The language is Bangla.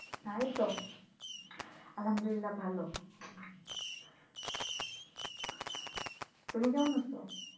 তুমি কেমন আছো?